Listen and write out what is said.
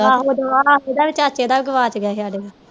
ਉਹਦਾ ਵੀ ਚਾਚੇ ਦਾ ਵੀ ਗਵਾਚ ਗਿਆ ਸੀ ਸਾਡੇ ਦਾ